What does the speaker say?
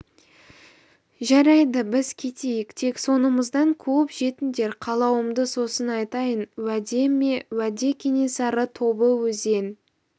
жарайды біз кетейік тек соңымыздан қуып жетіңдер қалауымды сосын айтайын уәде ме уәде кенесары тобы өзен